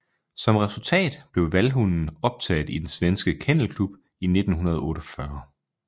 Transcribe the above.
Som resultat blev vallhunden optaget i den Svenske Kennel Klub i 1948